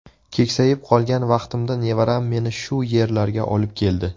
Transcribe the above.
Keksayib qolgan vaqtimda nevaram meni shu yerlarga olib keldi.